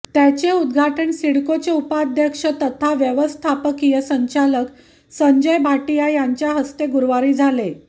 त्याचे उद्घाटन सिडकोचे उपाध्यक्ष तथा व्यवस्थापकीय संचालक संजय भाटिया यांच्या हस्ते गुरुवारी झाले